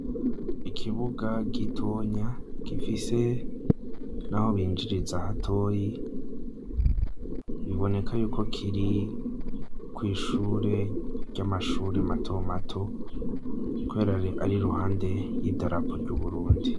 Ikibuga gitonya gifise n'aho binjiriza hatoyi, biboneka yuko kiri kw'ishure ry'amashure mato mato, kubera ari iruhande y'idarapo ry'u Burundi.